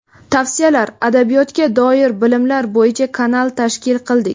tavsiyalar; adabiyotga doir bilimlar bo‘yicha kanal tashkil qildik.